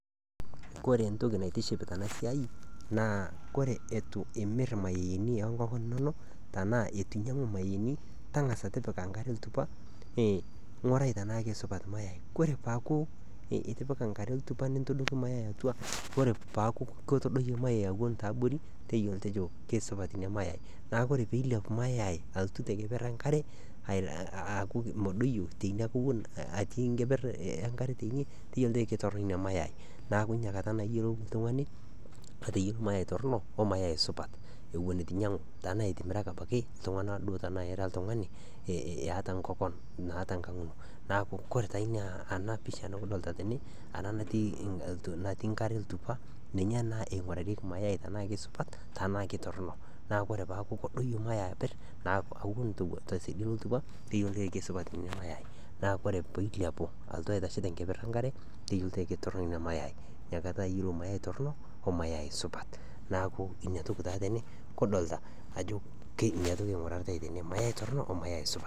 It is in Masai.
Kore entoki naitiship tena siai naa kore etu imirr imayaini oonkoken inono tanaa etunyang'u mayaini, tang'asa tipika nkare ltupa ning'orai tenaake supat  mayai. Kore paaku itipika nkare ltupa nintodoki  mayai atua kore paaku ketodoyie  mayai aton taabori teyiolo tejo keisupat ina  mayai. Neaku kore peeilepu  mayai alotu te keperr enkare aaku meodoyo teina kekun atii nkeperr teine teyiolou keitorrino ina mayai neaku teinakata naa iyiolou ltung'ani ateyiolo mayai torrino o  mayai supat ewon etu inyang'u tenaitimirakaki ltung'ana duo tenaira ltung'ani eh naata kokon naa tonkang' ino. Neaku koree taa inaa, ana pisha nikidolta tene ana natii , natii nkare ltupa ninye naa eing'orarieki  mayai tenaake supat tanaake torrino naaku orepaaku kodoyo mayai aperr naa awuen tosiadi eltupa nikiyiolo eikesupat ina mayai naa kore peilepu lotu aitashe te nkeperr enkare teyiolo ketorrino ina  mayai, inakata iyiolou mayai torrino o mayai supat . Naaku inatoki taa tene kudolta ajo ina toki eing'oritai tene mayai torrino o mayai supat.